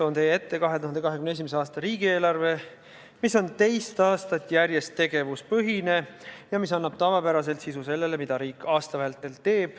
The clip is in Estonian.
Toon teie ette 2021. aasta riigieelarve, mis on teist aastat järjest tegevuspõhine ja mis annab tavapäraselt sisu sellele, mida riik aasta vältel teeb.